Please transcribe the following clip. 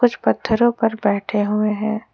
पत्थरों पर बैठे हुए हैं।